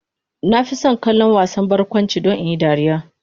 Na fi son kallon wasan barkwanci don in yi dariya.